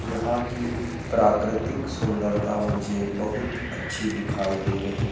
यहां की प्राकृतिक सुंदरता मुझे बहुत अच्छी दिखाई दे रही--